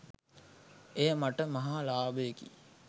එය මට මහා ලාභයකි